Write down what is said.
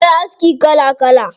Akwai aski kala kala.